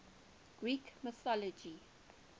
greek mythology